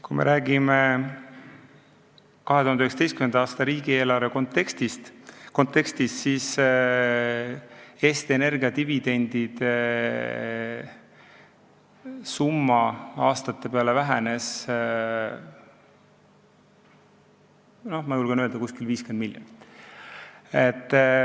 Kui me räägime 2019. aasta riigieelarve kontekstis, siis Eesti Energia dividendisumma aastate peale võetuna vähenes, ma julgen öelda, umbes 50 miljonit.